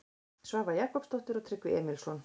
Svava Jakobsdóttir og Tryggvi Emilsson.